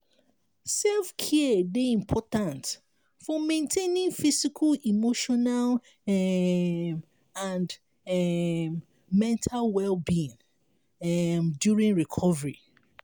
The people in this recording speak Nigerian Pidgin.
self-care dey important for maintaining physical emotional um and um mental well-being um during recovery.